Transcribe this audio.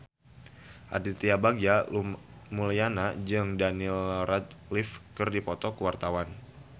Aditya Bagja Mulyana jeung Daniel Radcliffe keur dipoto ku wartawan